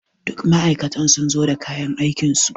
Duk ma'aikatan sun zo da kayan aikinsu.